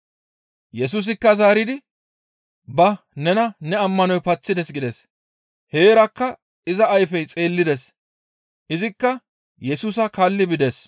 Yesusikka zaaridi, «Ba nena ne ammanoy paththides» gides. Heerakka iza ayfey xeellides. Izikka Yesusa kaalli bides.